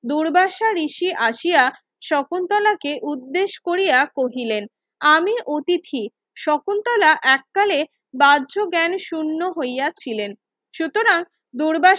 দুর্বাসা ঋষি আসিয়া শকুন্তলাকে উর্দেশ কোরিয়া কহিলেন আমি অতিথি শকুন্তলা এককালে বার্জ জ্ঞান শুন্য হইয়া ছিলেন সুতরাং দুর্বাসা